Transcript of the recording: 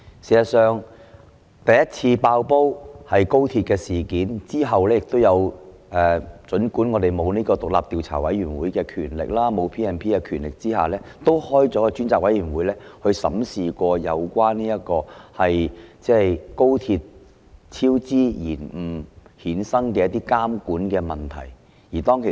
事實上，第一次"爆煲"是高鐵超支事件，之後儘管我們沒有獨立調查委員會的權力，也沒有 P&P 條例》)的權力，我們仍然成立了一個專責委員會來審視有關高鐵超支延誤所衍生的監管問題。